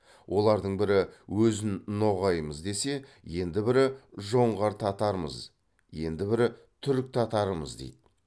олардың бірі өзін ноғаймыз десе енді бірі жоңғар татарымыз енді бірі түрік татарымыз дейді